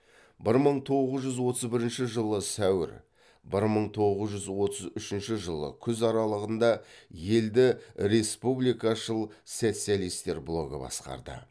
бір мың тоғыз жүз отыз бірінші жылы сәуір бір мың тоғыз жүз отыз үшінші жылы күз аралығында елді республикашыл социалистер блогы басқарды